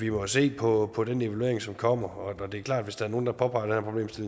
jo se på på den evaluering som kommer og det er klart at hvis der er nogen der påpeger